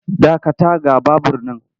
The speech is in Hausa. Dakata ga babur nan!